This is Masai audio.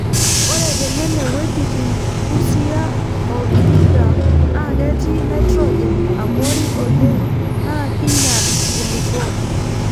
Ore tenene wuejitin Busia o Vihiga naa ketii naitrojen abori oleng naa kinyal nkulupuok.